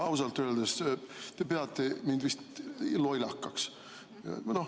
No ausalt öeldes te peate mind vist lollakaks.